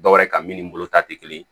Dɔwɛrɛ ka min ni bolo ta tɛ kelen ye